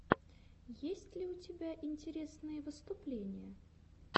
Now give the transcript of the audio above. есть ли у тебя интересные выступления